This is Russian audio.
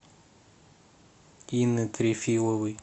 инны трефиловой